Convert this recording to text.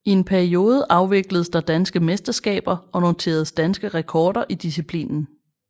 I en periode afvikledes der danske mesterskaber og noteredes danske rekorder i disciplinen